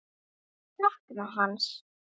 Ég sakna hans.